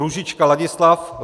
Růžička Ladislav